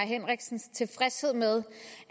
henriksens tilfredshed med